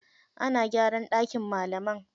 Ana gyara ɗakin malaman.